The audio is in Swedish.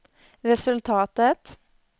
resultatet